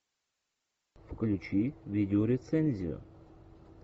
включи видеорецензию